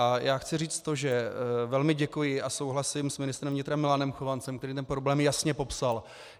A já chci říct to, že velmi děkuji a souhlasím s ministrem vnitra Milanem Chovancem, který ten problém jasně popsal.